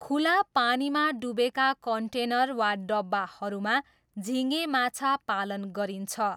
खुला पानीमा डुबेका कन्टेनर वा डब्बाहरूमा झिँगे माछा पालन गरिन्छ।